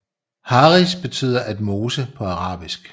Haris betyder at mose på arabisk